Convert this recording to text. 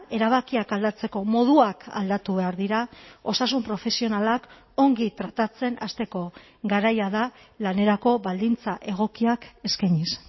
erabakiak aldatzeko moduak aldatu behar dira osasun profesionalak ongi tratatzen hasteko garaia da lanerako baldintza egokiak eskainiz